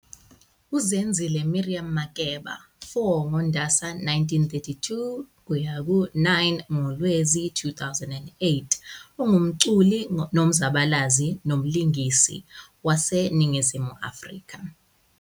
UZenzile Miriam Makeba, 4 ngoNdasa 1932 - 9 ngoLwezi 2008, ungumculi nomzabalazi nomlingisi waseNingizimu Afrika.